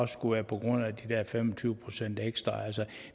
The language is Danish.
skulle være på grund af de der fem og tyve procent ekstra